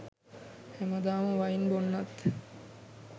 හැමදාම වයින් බොන්නත්